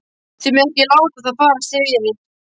Þið megið ekki láta það farast fyrir.